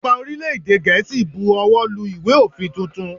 Ọba orílè èdè Gèésì bu owó lu ìwé òfin tuntun.